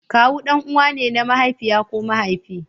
Kawu ɗan'uwa ne na mahaifiya ko mahaifi.